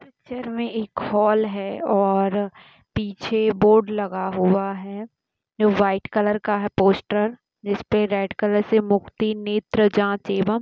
picture में एक hall है और पीछे बोर्ड लगा हुआ है जो वाईट कलर का है पोस्टर जिसपे रेड कलर से मुक्ति नेत्र जाँच एवं--